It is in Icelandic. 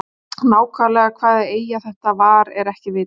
Nákvæmlega hvaða eyja þetta var er ekki vitað.